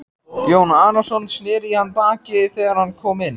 Jón Arason sneri í hann baki þegar hann kom inn.